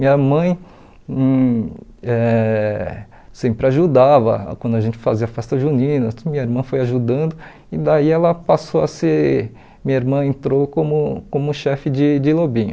Minha mãe hum eh sempre ajudava quando a gente fazia festa junina, tudo minha irmã foi ajudando, e daí ela passou a ser, minha irmã entrou como como chefe de de lobinho.